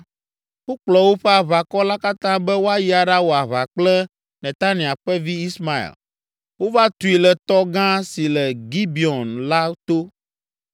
wokplɔ woƒe aʋakɔ la katã be woayi aɖawɔ aʋa kple Netania ƒe vi Ismael. Wova tui le tɔ gã si le Gibeon la to.